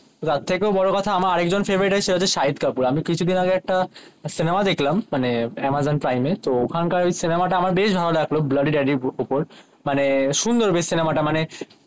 তার থেকেও বোরো কথা আমার আর একজন ফেভারিট সে হচ্ছে শহীদ কাপুর আমি কিছু দিন আগে একটা সিনেমা দেখলাম মানে আমাজন প্রাইম এ তো ওখানকার ওই সিনেমা তা আমার বেশ ভালো লাগলো ব্ল্যাড্ডি ড্যাডি এর ওপর মানে সুন্দর বেশ সিনেমা টা মানে